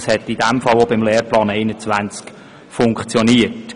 Das hat in diesem Fall beim Lehrplan 21 funktioniert.